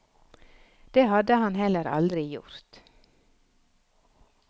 Det hadde han heller aldri gjort.